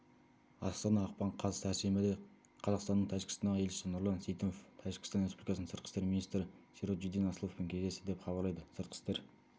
астана ақпан қаз сәрсенбіде қазақстанның тәжікстандағы елшісі нұрлан сейтімов тәжікстан республикасының сыртқы істер министрі сироджиддин асловпен кездесті деп хабарлайды сыртқы істер